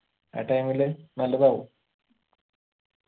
ആ time ല് നല്ലതാവും